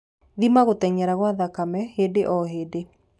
Thima gũteng'era gwa thakame hĩndĩ o hĩndĩ